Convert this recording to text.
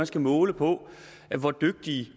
skal måles på hvor dygtige